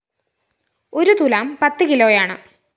ഒരു തുലാം പത്ത് കിലോയാണ്